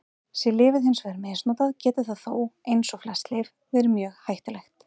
Sé lyfið hins vegar misnotað getur það þó, eins og flest lyf, verið mjög hættulegt.